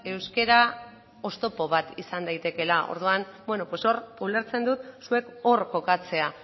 euskara oztopo bat izan daitekeela orduan hor ulertzen dut zuek hor kokatzea